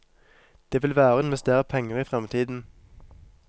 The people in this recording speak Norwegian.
Det vil være å investere penger i fremtiden.